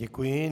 Děkuji.